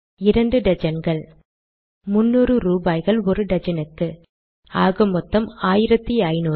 இரண்டு டஜன்கள் முன்னூறு ரூபாய்கள் ஒரு டஜனுக்கு ஆக மொத்தம் ஆயிரத்தைனூறு